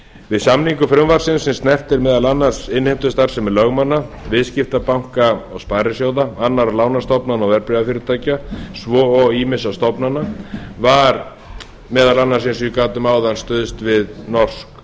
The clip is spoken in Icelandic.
við samningu frumvarpsins sem snertir meðal annars innheimtustarfsemi lögmanna viðskiptabanka og sparisjóða annarra lánastofnana og verðbréfafyrirtækja svo og ýmissa stofnana var meðal annars eins og ég gat um áðan stuðst við norsk